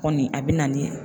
Kɔni a bɛ na ni